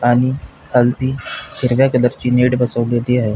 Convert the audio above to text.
आणि खालती हिरव्या कलरची मॅट बसवलेली आहे.